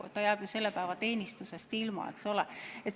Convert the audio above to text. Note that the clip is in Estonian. Ta jääb ju selle päeva teenistusest ilma, eks ole.